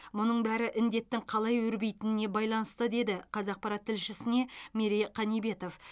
мұның бәрі індеттің қалай өрбитініне байланысты деді қазақпарат тілшісіне мерей қанибетов